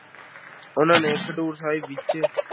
ਉਹਨਾਂ ਨੇ ਖਡੂਰ ਸਾਹਿਬ ਵਿੱਚ